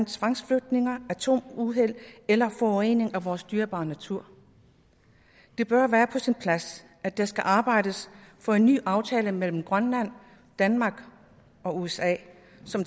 tvangsflytninger atomuheld eller forurening af vores dyrebare natur det bør være på sin plads at der skal arbejdes for en ny aftale mellem grønland danmark og usa som